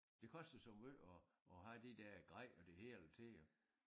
Det koster så måj at at have det der grej og det hele til at